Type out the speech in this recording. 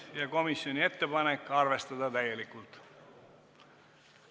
Juhtivkomisjoni ettepanek: arvestada täielikult.